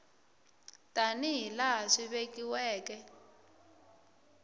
tani hi laha swi vekiweke